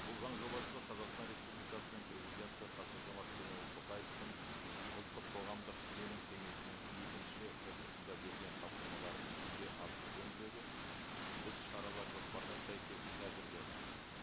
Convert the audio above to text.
бұл заң жобасы қазақстан республикасының президенті қасым жомарт кемелұлы тоқаевтың ұлттық қоғамдық сенім кеңесінің екінші отырысында берген тапсырмаларын іске асыру жөніндегі іс шаралар жоспарына сәйкес әзірленді